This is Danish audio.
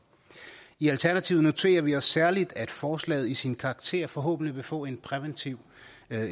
i alternativet noterer vi os særlig at forslaget i sin karakter forhåbentlig vil få en præventiv